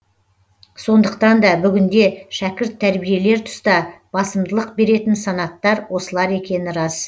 сондықтан да бүгінде шәкірт тәрбиелер тұста басымдылық беретін санаттар осылар екені рас